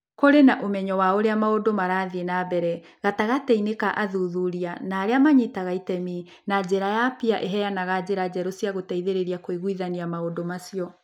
Kũrĩ na ũmenyo wa ũrĩa maũndũ marathiĩ na mbere gatagatĩ-inĩ ka athuthuria na arĩa maranyita itemi, na njĩra ya PEER ĩheanaga njĩra njerũ cia gũteithĩrĩria kũiguithania maũndũ macio.